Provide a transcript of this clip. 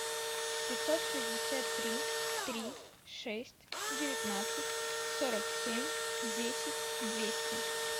пятьсот шестьдесят три три шесть девятнадцать сорок семь десять двести